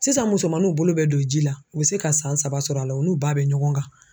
Sisan musomanninw bolo bɛ don ji la u bɛ se ka san saba sɔrɔ a la u n'u ba bɛ ɲɔgɔn kan.